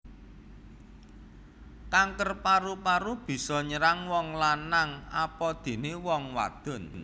Kanker paru paru bisa nyerang wong lanang apadené wong wadon